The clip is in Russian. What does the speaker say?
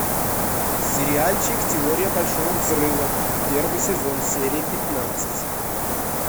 сериальчик теория большого взрыва первый сезон серия пятнадцать